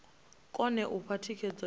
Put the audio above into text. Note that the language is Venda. kone u fha thikhedzo yo